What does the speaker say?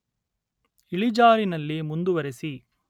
ಇಳಿಜಾರಿನಲ್ಲಿ ಮುಂದುವರಿಸಿ